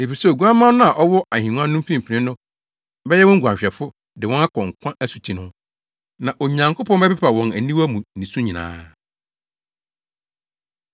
Efisɛ Oguamma no a ɔwɔ ahengua no mfimfini no bɛyɛ wɔn guanhwɛfo de wɔn akɔ nkwa asuti ho. Na Onyankopɔn bɛpepa wɔn aniwa mu nisu nyinaa.”